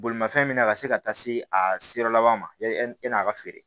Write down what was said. Bolimafɛn min na ka se ka taa se a seyɔrɔ laban ma yan'a ka feere